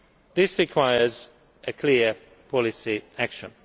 This requires a clear policy action.